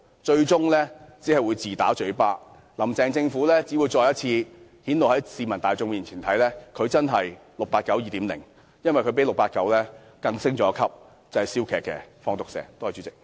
這樣最終只會自打嘴巴，"林鄭"再次讓市民大眾看到她真的是 "689 2.0"， 因為她較 "689" 升級，是"笑騎騎，放毒蛇"。